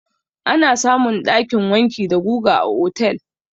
Ana samun ɗakin wanki da guga a otel.